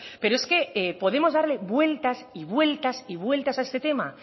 pero es que podemos darle vueltas y vueltas y vueltas a este tema